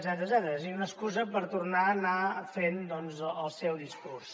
és a dir una excusa per tornar anar fent doncs el seu discurs